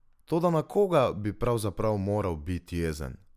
Toda na koga bi pravzaprav moral biti jezen?